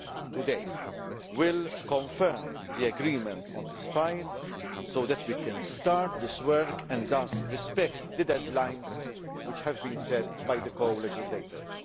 vote today will confirm the agreement on this file, so that we can start this work and thus respect the deadlines which have been set by the co legislators.